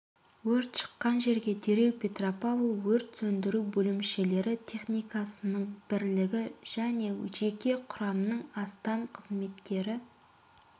өрт шыққан жерге дереу петропавл өрт сөндіру бөлімшелері техникасының бірлігі және жеке құрамның астам қызметкері